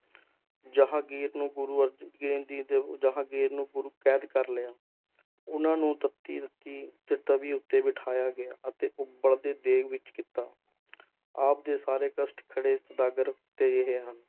ਜਹਾਂਗੀਰ ਨੂੰ ਗੁਰੂ ਅਰਜਨ ਦੇ ਜਹਾਂਗੀਰ ਨੂੰ ਗੁਰੂ ਕੈਦ ਕਰ ਲਿਆ, ਉਹਨਾਂ ਨੂੰ ਤੱਤੀ ਤੱਤੀ ਤ~ ਤਵੀ ਉੱਤੇ ਬਿਠਾਇਆ ਗਿਆ, ਅਤੇ ਉਬਲਦੇ ਦੇਗ ਵਿੱਚ ਕੀਤਾ ਆਪ ਦੇ ਸਾਰੇ ਕਸ਼ਟ ਖੜੇ